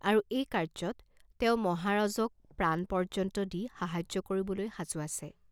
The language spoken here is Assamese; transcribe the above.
আৰু এই কাৰ্য্যত তেওঁ মহাৰাজক প্ৰাণপৰ্য্যন্ত দি সাহায্য কৰিবলৈ সাজু আছে।